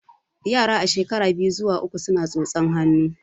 Yara a shekara biyu zuwa uku suna tsotsan hannu